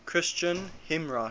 christian hymnwriters